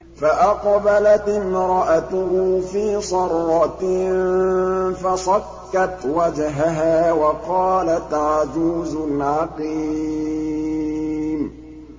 فَأَقْبَلَتِ امْرَأَتُهُ فِي صَرَّةٍ فَصَكَّتْ وَجْهَهَا وَقَالَتْ عَجُوزٌ عَقِيمٌ